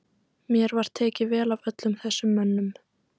Mér var tekið vel af öllum þessum mönnum.